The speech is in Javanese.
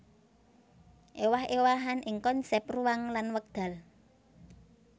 Éwah éwahan ing konsèp ruang lan wekdal